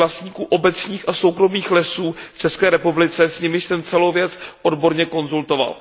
Sdružení vlastníků obecních a soukromých lesů v České republice, s nimiž jsem celou věc odborně konzultoval.